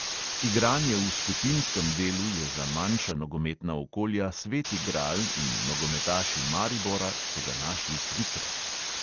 Igranje v skupinskem delu je za manjša nogometna okolja sveti gral in nogometaši maribora so ga našli trikrat ...